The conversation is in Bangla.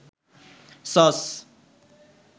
সস